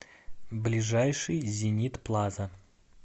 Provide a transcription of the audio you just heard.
ближайший зенит плаза